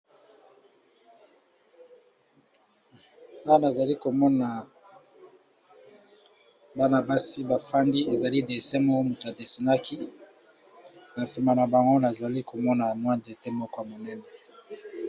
Awa namoni bana basi bafandi eza dessin moto moko adessinaki nasima na bango namoni pe banzete